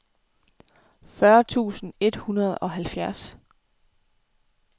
fyrre tusind et hundrede og halvfjerds